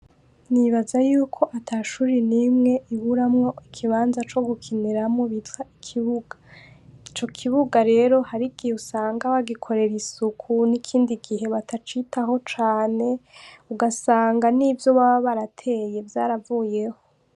Nibaza yuko atashure nimwe iburamwo ikibanza co gukiniramwo bitwa ikibuga. Ico kibuga rero harigihe usanga bagikorera isuku n’ikindi gihe batacitaho cane ugasanga nivyo baba barateye vyaravuyeho